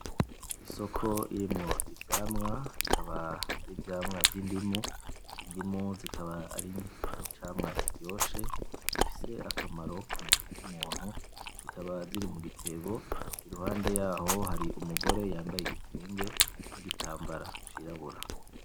Isoko irimwo ivyamwa , bikaba ari ivyamwa vy'indimu, indimu zikaba ari icamwa kiryoshe, gifise akamaro ku muntu. Zikaba ziri mu gitebo. Iruhande yaho hari umugore yambaye igitenge n'igitambara cirabura.